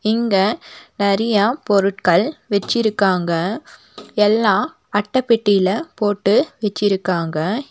இங்க நெறைய பொருட்கள் வச்சிருக்காங்க எல்லா அட்டை பெட்டில போட்டு வச்சிருக்காங்க.